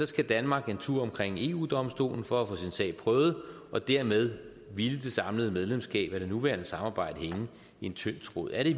skal danmark en tur omkring eu domstolen for at få sin sag prøvet og dermed ville det samlede medlemskab af det nuværende samarbejde hænge i en tynd tråd er det